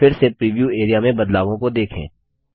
फिर से preview area में बदलावों को देखें